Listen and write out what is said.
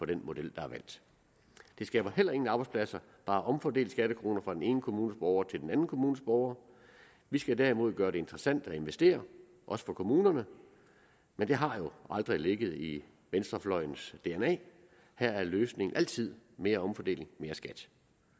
den model der er valgt det skaber heller ingen arbejdspladser bare at omfordele skattekroner fra den ene kommunes borgere til den anden kommunes borgere vi skal derimod gøre det interessant at investere også for kommunerne men det har jo aldrig ligget i venstrefløjens dna her er løsningen altid mere omfordeling mere skat